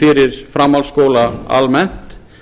fyrir framhaldsskóla almennt